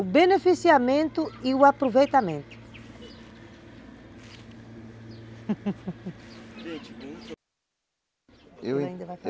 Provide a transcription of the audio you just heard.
O beneficiamento e o aproveitamento